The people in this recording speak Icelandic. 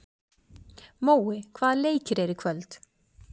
Mói, hvaða leikir eru í kvöld?